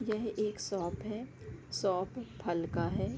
यह एक शॉप है शॉप फल का है ।